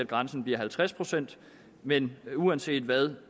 grænsen bliver halvtreds procent men uanset hvad